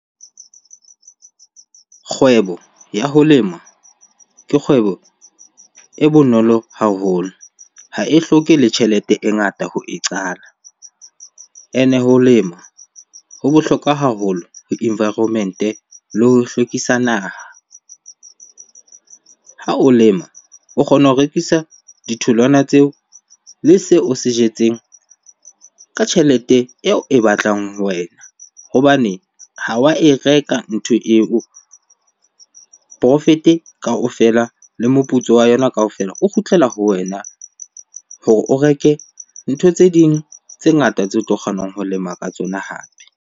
Kgwebo ya ho lema ke kgwebo e bonolo haholo, ha e hloke le tjhelete e ngata ho e qala. Ene ho lema ho bohlokwa haholo ho environment-e le ho hlwekisa naha. Ha o lema o kgona ho rekisa ditholwana tseo le seo o se jetseng ka tjhelete eo e batlang ho wena hobane ha wa e reka ntho eo. Profit kaofela le moputso wa yona kaofela o kgutlela ho wena hore o reke ntho tse ding tse ngata tseo o tlo kgonang ho lema ka tsona hape.